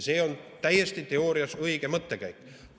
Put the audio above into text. See on teoorias täiesti õige mõttekäik.